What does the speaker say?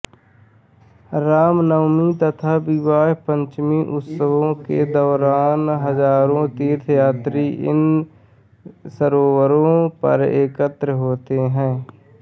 रामनवमी तथा विवाह पंचमी उत्सवों के दौरान हजारों तीर्थयात्री इन सरोवरों पर एकत्र होते हैं